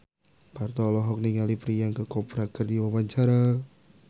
Parto olohok ningali Priyanka Chopra keur diwawancara